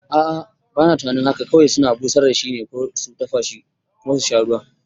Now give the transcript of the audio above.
A'a, bana tunanin haka kawai suna busar da shi ko su dafashi kuma susha ruwan